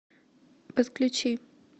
подключи